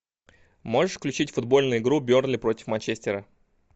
можешь включить футбольную игру бернли против манчестера